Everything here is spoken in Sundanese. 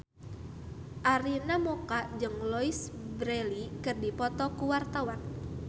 Arina Mocca jeung Louise Brealey keur dipoto ku wartawan